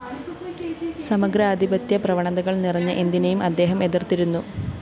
സമഗ്രാധിപത്യ പ്രവണതകള്‍ നിറഞ്ഞ എന്തിനെയും ആദ്ദേഹം എതിര്‍ത്തിരുന്നു